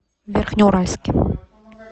верхнеуральске